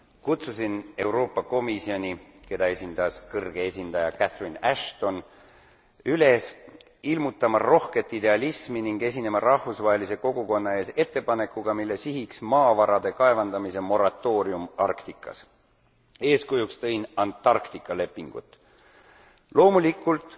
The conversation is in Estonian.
Kutsusin Euroopa Komisjoni, keda esindas kõrge esindaja Catherine Ashton, üles ilmutama rohket idealismi ning esinema rahvusvahelise kogukonna ees ettepanekuga, mille sihiks maavarade kaevandamise moratoorium Arktikas. Eeskujuks tõin Antarktika lepingud. Loomulikult